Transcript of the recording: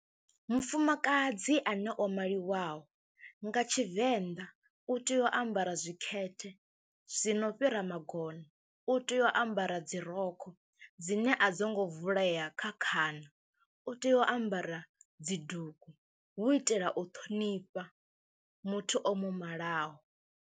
Mufumakadzi ane o maliwaho nga Tshivenḓa u tea u ambara zwikete zwi no fhira magona u tea u ambara dzi rokho dzine a dzo ngo vulea kha khana, u tea u ambara dzi dugu, hu u itela u ṱhonifha muthu o mu malaho.